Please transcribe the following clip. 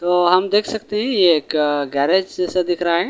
तो हम देख सकते है ये एक गैरेज जैसा दिख रहा है।